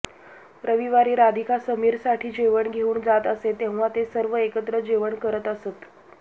रविवारी राधिका समीरसाठी जेवण घेऊन जात असे तेव्हा ते सर्व एकत्र जेवण करत असत